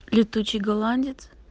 летучий голландец